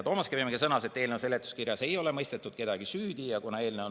Toomas Kivimägi sõnas, et eelnõu seletuskirjas ei ole kedagi süüdi mõistetud.